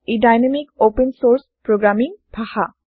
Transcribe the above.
ই dynamic open source programming ভাষা